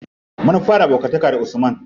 Mun fara abokanta da usman.